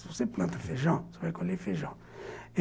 Se você planta feijão, você vai colher feijão.